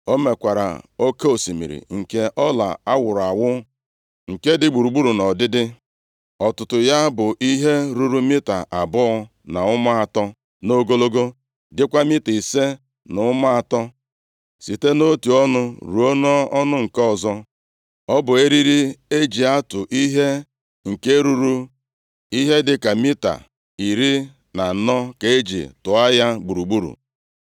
O mekwara Oke osimiri nke ọla awụrụ awụ, nke dị gburugburu nʼụdịdị. Ọtụtụ ya bụ ihe ruru mita abụọ na ụma atọ nʼogologo, dịkwa mita ise na ụma atọ, site nʼotu ọnụ ruo nʼọnụ nke ọzọ. Ọ bụ eriri e ji atụ ihe nke ruru ihe dịka mita iri na anọ ka e ji tụọ ya gburugburu.